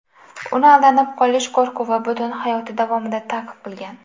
Uni aldanib qolish qo‘rquvi butun hayoti davomida ta’qib qilgan.